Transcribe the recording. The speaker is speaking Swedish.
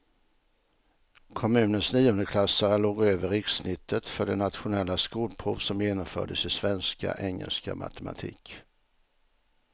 Kommunens niondeklassare låg över rikssnittet för det nationella skolprov som genomfördes i svenska, engelska och matematik.